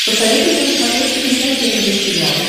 посоветуй мне на смотрешке передачу нтв сериал